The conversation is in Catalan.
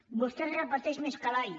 vostè es repeteix més que l’all